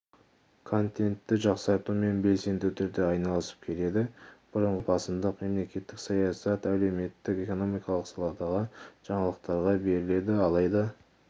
контентті жақсартумен белсенді түрде айналысып келеді бұрынғысынша басымдық мемлекеттік саясат әлеуметтік-экономикалық саладағы жаңалықтарға беріледі алайда